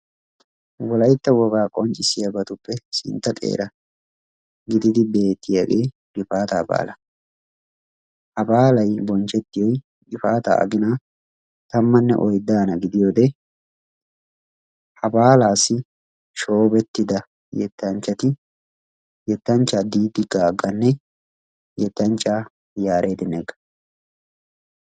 Wolaytta wogaa qonccissiyaabatuppe sintta xeera gididi beettiyaagee gifaataa baalaa. Ha baalay bonchchettiyoy gifaataa aginaa tammanne oyddaana gidiyoodee ha baalaassi shoobettida yettanchchati yettanchchaa Diidi Gaagganne yettanchchaa Yaared Negga.